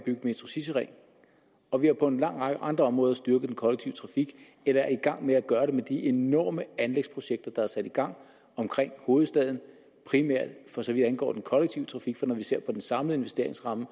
en metrocityring og vi har på en lang række andre områder styrket den kollektive trafik eller er i gang med at gøre det med de enorme anlægsprojekter der er sat i gang omkring hovedstaden primært for så vidt angår den kollektive trafik når man ser på den samlede investeringsramme